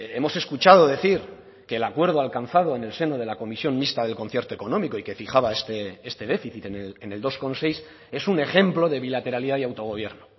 hemos escuchado decir que el acuerdo alcanzado en el seno de la comisión mixta del concierto económico y que fijaba este déficit en el dos coma seis es un ejemplo de bilateralidad y autogobierno